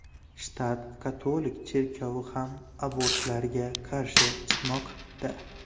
Shtat katolik cherkovi ham abortlarga qarshi chiqmoqda.